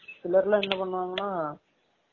இல்லட்ட்னா என்ன பன்னுவாங்கனா